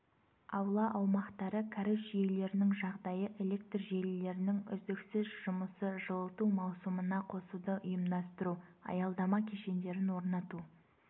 аула аумақтары кәріз жүйелерінің жағдайы электр желілерінің үздіксіз жұмысы жылыту маусымына қосуды ұйымдастыру аялдама кешендерін орнату